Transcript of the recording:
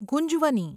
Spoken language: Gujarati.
ગુંજવની